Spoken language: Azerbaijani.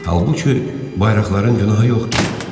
Halbuki bayraqların günahı yoxdur.